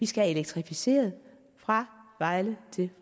skal elektrificeres fra vejle til